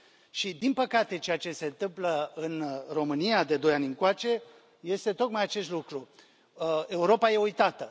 Și, din păcate, ceea ce se întâmplă în România de doi ani încoace este tocmai acest lucru Europa e uitată.